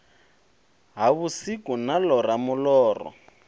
ha vhusiku na ḽora muḽoro